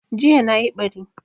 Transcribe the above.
Jiya nayi ɓari